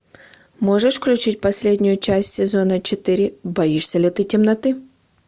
можешь включить последнюю часть сезона четыре боишься ли ты темноты